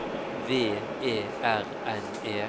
V E R N E